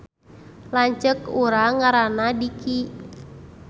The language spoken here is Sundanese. Lanceuk urang ngaranna Diki